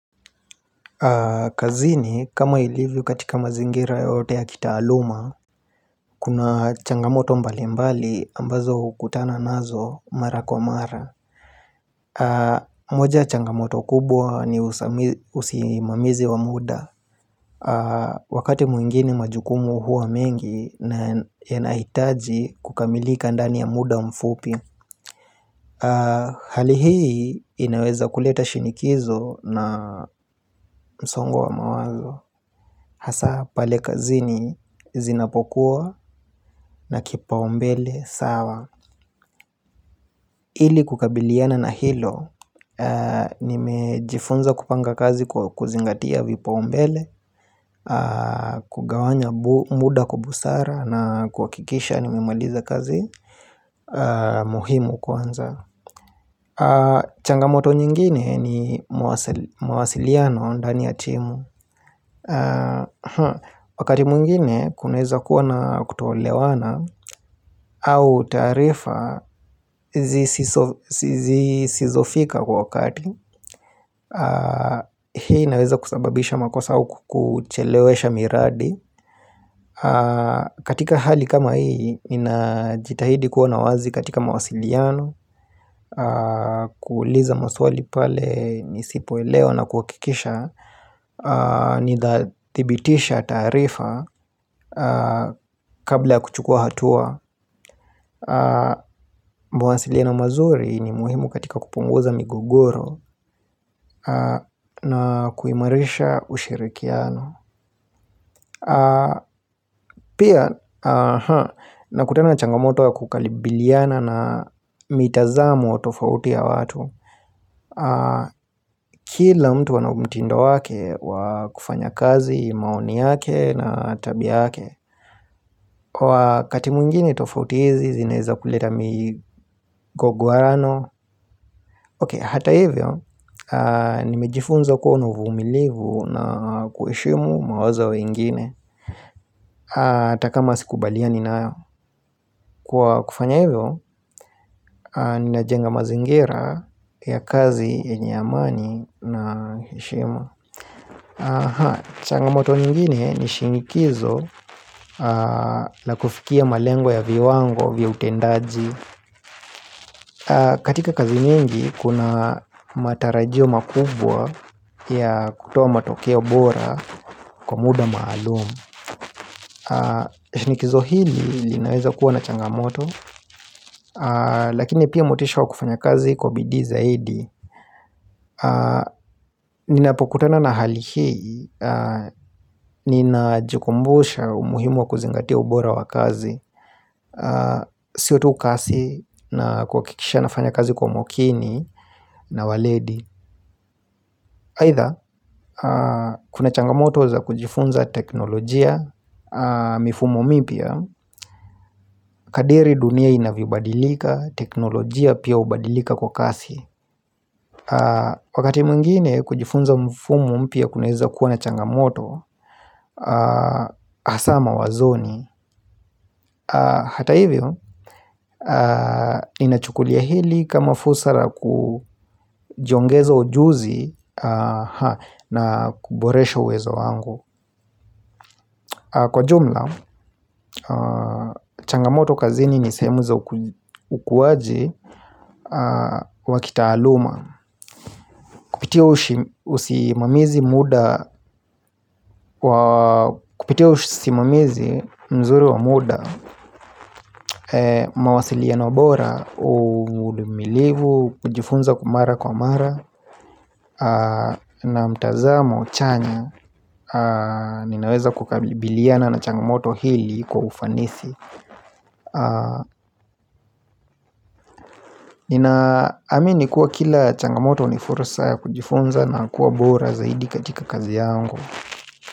Kazini kama ilivyo katika mazingira yoyote ya kitaaluma, kuna changamoto mbalimbali ambazo hukutana nazo mara kwa mara moja ya changamoto kubwa ni usimamizi wa muda. Wakati mwingine majukumu huwa mengi na yanahitaji kukamilika ndani ya muda mfupi Hali hii inaweza kuleta shinikizo na msongo wa mawazo hasa pale kazini zinapokuwa na kipaumbele sawa Ili kukabiliana na hilo, nimejifunza kupanga kazi kuzingatia vipaumbele, kugawanya muda kwa busara na kukikisha nimemaliza kazi muhimu kwanza. Changamoto nyingine ni mawasiliano ndani ya timu. Wakati mwingine kunaweza kuwa na kutoelewana au taarifa zisizofika kwa wakati. Hii inaweza kusababisha makosa au kuchelewesha miradi, katika hali kama hii, ninajitahidi kuwa na wazi katika mawasiliano kuuliza maswali pale nisipoelewa na kuhakikisha nitathibitisha taarifa kabla ya kuchukua hatua mawasiliano mazuri ni muhimu katika kupunguza migogoro na kuimarisha ushirikiano Pia nakutana na changamoto ya kukabiliana na mitazamo tofauti ya watu Kila mtu ana mtindo wake wa kufanyakazi, maoni yake, na tabia yake. Kwa wakati mwingine tofauti hizi zinaweza kuleta migogoano Ok, hata hivyo, nimejifunza kuwa na uvumilivu na kuheshimu mawazo ya wengine Hata kama sikubaliani nayo kufanya hivyo, ninajenga mazingira ya kazi yenye amani na heshima Changamoto nyingine ni shinikizo la kufikia malengwa ya viwango vya utendaji katika kazi nyingi kuna matarajio makubwa ya kutoa matokea bora kwa muda maalumu shinikizo hili linaweza kuwa na changamoto Lakini pia motisha wa kufanya kazi kwa bidii zaidi Ninapokutana na hali hii, ninajikumbusha umuhimu wa kuzingatia ubora wa kazi Siyo tu kazi na kuhakikisha nafanya kazi kwa umakini na weledi. Aidha kuna changamoto za kujifunza teknolojia mifumo mipya kadiri dunia inavyobadilika teknolojia pia hubadilika kwa kasi Wakati mwingine kujifunza mifumo mpya kunaweza kuwa na changamoto hasa mawazoni. Hata hivyo inachukulia hili kama fursa la kujiongeza ujuzi na kuboresha uwezo wangu. Kwa jumla, changamoto kazini ni sehemu za ukuaji wa kitaaluma Kupitia usimamizi mzuri wa muda mawasiliano bora, uvumilivu, kujifunza kwa mara kwa mara na mtazamo chanya, ninaweza kukabiliana na changamoto hili kwa ufanisi Ninaamini kuwa kila changamoto ni fursa ya kujifunza na kuwa bora zaidi katika kazi yangu.